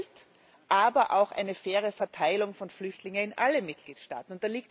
Geld, aber auch eine faire Verteilung von Flüchtlingen auf alle Mitgliedstaaten.